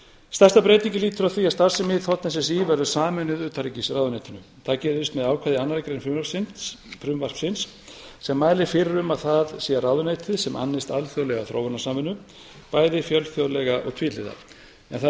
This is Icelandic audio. stærsta breytingin lýtur að því að starfsemi þ s s í verður sameinuð utanríkisráðuneytinu það gerist með ákvæði í annarri grein frumvarpsins sem mælir fyrir um að það sé ráðuneytið sem annist alþjóðlega þróunarsamvinnu bæði fjölþjóðlega og tvíhliða en það